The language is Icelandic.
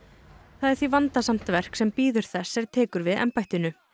það er því vandasamt verk sem bíður þess er tekur við embættinu